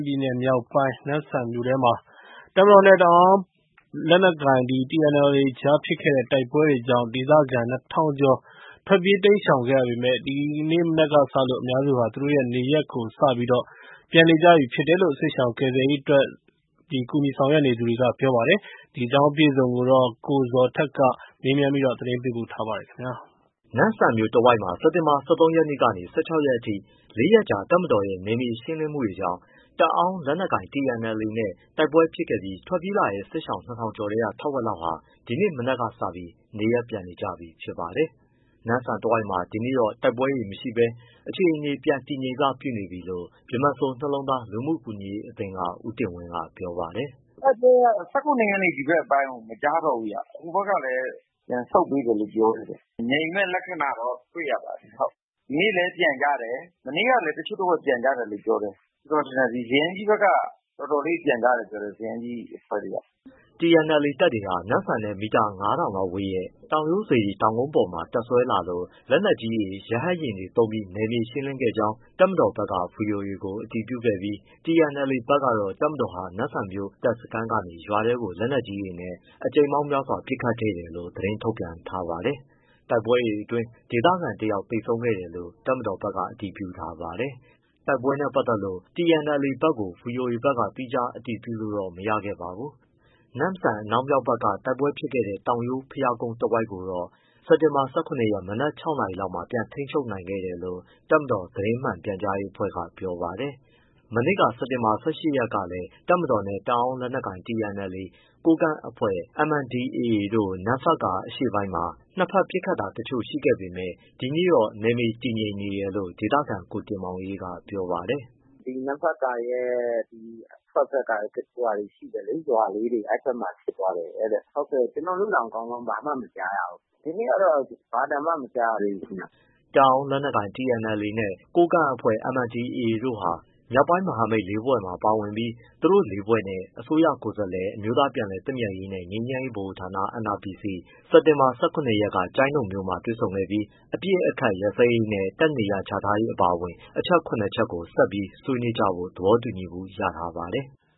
ပြည်နယ်မြောက်ပိုင်း၊ နမ့်ဆန်မြို့ ထဲမှာ တပ်မတော်နဲ့ တအောန်းလက်နက်ကိုင် TNLA ကြားဖြစ်ခဲ့တဲ့ တိုက်ပွဲကြောင့် ဒေသခံ ၂၀၀၀ ကျော် ထွက်ပြေး တိမ်းရှောင်ခဲ့ရပေမဲ့ ဒီနေ့မနက်ကစလို့ အများစုက နေရပ်ကိုစပြီး ပြန်နေကြပြီလို့ စစ်ရှောင်ကယ်ဆယ်ရေး ဆောင်ရွက်နေသူတွေက ပြောပါတယ်။ အပြည့်အစုံကို ကိုဇော်ထက်က မေးမြန်းပေးပို့ထားပါတယ်။ နမ့်ဆန်မြို့တဝိုက်မှာ စက်တင်ဘာ ၁၃ရက်ကနေ ၁၆ရက်ထိ လေးရက်ကြာ တပ်မတော်ရဲ့ နယ်မြေရှင်းလင်းမှုတွေကြောင့် တအောန်းလက်နက်ကိုင် TNLAနဲ့ တိုက်ပွဲတွေဖြစ်ခဲ့ပြီး ထွက်ပြေးလာတဲ့စစ်ရှောင် ၂၀၀၀ ကျော်ထဲက ထက်ဝက်လောက်ဟာ ဒီနေ့မနက်ကစပြီး နေရပ်ပြန်နေကြပြီ ဖြစ်ပါတယ်။ နမ့်ဆန်တဝိုက်မှာ ဒီနေ့တော့ တိုက်ပွဲတွေမရှိဘဲ အခြေအနေပြန်ငြိမ်စပြုနေပြီလို့ ဗြဟ္မစိုရ်နှလုံးသား လူမှုကူညီရေးအသင်းက ဦးတင်ဝင်းက ပြောပါတယ်။ “တိုက်ပွဲက ၁၇ရက်နေ့ ဒီဘက်အပိုင်းကို မကြားတော့ဘူဗျ ဟိုဘက်ကလည်း ပြန်ဆုတ်ပေးတယ်လို့ ပြောတယ်ဗျ။ ငြိမ်တဲ့ လက္ခဏာတော့ တွေ့ရပါတယ်။ ဒီနေ့လည်း (စစ်ရှောင်တွေ) ပြန်ကြတယ် မနေ့ကလည်း တချို့တဝက်ပြန်ကြတယ်။ ကျနော်ထင်တယ် ဒီဇယန်းကြီးဘက်က အဖွဲ့တွေ အတော်လေး ပြန်ကြတယ်ပြောတယ်။” TNLA တပ်တွေဟာ နမ့်ဆမ်နဲ့ မီတာ ၅၀၀၀ လောက်ပဲဝေးတဲ့ တောင်ရိုးစေတီတောင်ကုန်းပေါ်မှာ တပ်စွဲလာလို့ လက်နက်ကြီးတွေ၊ ရဟတ်ယာဉ်တွေ သုံးပြီး နယ်မြေရှင်းလင်းခဲ့ကြောင်း တပ်မတော်ဘက်က ဗွီအိုအေကို အတည်ပြုခဲ့ပြီး၊ TNLA ဘက်ကတော့ တပ်မတော်ဟာ နမ့်ဆန်မြို့ တပ်စခန်းကနေ ရွာထဲကို လက်နက်ကြီးတွေနဲ့ အကြိမ်ပေါင်းများစွာ ပစ်ခတ်ခဲ့တယ်လို့ သတင်းထုတ်ပြန်ခဲ့ပါတယ်။ တိုက်ပွဲအတွင်း ဒေသခံတယောက် သေဆုံးခဲ့တယ်လို့ တပ်မတော်ဘက်က အတည်ပြုထားပါတယ်။ တိုက်ပွဲနဲ့ ပတ်သက်လို့ TNLA ဘက်ကို ဗွီအိုအေဘက်က သီးခြား အတည်ပြုလို့ တော့မရခဲ့ပါဘူး။ နမ့်ဆန် အနောက်မြောက်ဘက်က တိုက်ပွဲဖြစ်ခဲ့တဲ့ တောင်ရိုးဘုရားကုန်းတဝိုက်ကို စက်တင်ဘာ ၁၇ရက် မနက် ၆ နာရီလောက်မှာ ပြန်ထိန်းချုပ်နိုင်ခဲ့ တယ်လို့ တပ်မတော်သတင်းပြန်ကြားရေးအဖွဲ့က ပြောပါတယ်။ မနေ့က စက်တင်ဘာ ၁၈ရက်ကလည်း တပ်မတော်နဲ့ တအောန်းလက်နက်ကိုင် TNLA ၊ ကိုးကန့်တပ်ဖွဲ့ MNDAA တို့ နမ့်ဖတ်ကာ အရှေ့ ပိုင်းမှာ နှစ်ဘက် ပစ်ခတ်တာတချို့ ရှိခဲ့ပေမဲ့ ဒီနေ့တော့ နယ်မြေတည်ငြိမ်နေတယ်လို့ ဒေသခံ ကိုတင်မောင်အေးက ပြောပါတယ်။ “မနေ့က သူတို့ပြောကြတာကျတော့ ဒီ နမ့်ဖက်ကာရဲ့ အထွက်ဘက်က ရွာလေးတွေ ရှိတယ်လေ။ အဲဒီဘက်မှာ ဖြစ်သွားတယ်တဲ့ ကျနော်တို့တောင် ကောင်းကောင်း ဘာမှမကြားရဘူး။ ဒီနေ့ကတော့ ဘာသံမှ မကြားရသေးဘူးခင်ဗျ။” တအောန်းလက်နက်ကိုင် TNLA နဲ့ ကိုးကန့်တပ်ဖွဲ့ MNDAA ဟာ မြောက်ပိုင်း မဟာမိတ်လေးဖွဲ့မှာပါဝင်ပြီး သူတို့လေးဖွဲ့နဲ့ အစိုးရကိုယ်စားလှယ် အမျိုးသားပြန်လည် သင့်မြတ်ရေးနှင့် ငြိမ်းချမ်းရေးဗဟိုဌာန NRPC စက်တင်ဘာ ၁၇ရက်က ကျိုင်းတုံမြို့မှာ တွေ့ဆုံခဲ့ပြီး အပစ်အခတ်ရပ်စဲရေးနဲ့ တပ်နေရာချထားရေး အပါအဝင် အချက် ၇ချက်ကို ဆက်ပြီးဆွေးနွေးကြဖို့ သဘောတူညီမှုရထားပါတယ်။